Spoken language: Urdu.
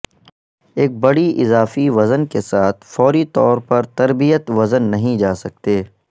ایک بڑی اضافی وزن کے ساتھ فوری طور پر تربیت وزن نہیں جا سکتے